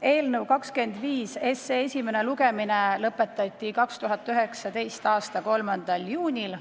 Eelnõu 25 esimene lugemine lõpetati 2019. aasta 3. juunil.